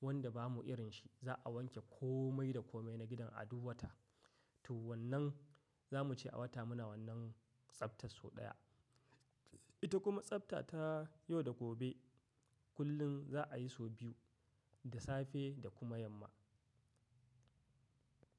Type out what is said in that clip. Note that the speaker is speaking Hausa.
wanda bamu irin shi. Za a wanke komai da komai na gidan a duk wata. To wannan za muce a wata muna wannan tsaftar sau ɗaya. Ita kuma tsafta ta yau da gobe. Kullum za a yi sau biyu, da safe da kuma yamma.